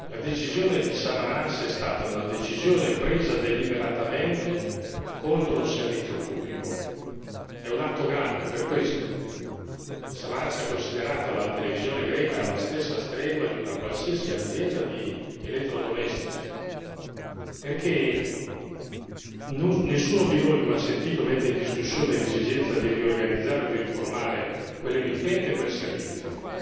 La decisione di Samaras è stata una decisione presa deliberatamente contro un servizio pubblico e si tratta di un atto grave. Samaras ha considerato la televisione greca alla stregua di una qualsiasi azienda di elettrodomestici perché nessuno di noi come ha sentito mette in discussione l'esigenza di riorganizzare o di riformare quell'emittente o quel servizio,